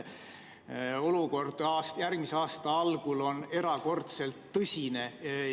Olukord järgmise aasta algul on erakordselt tõsine.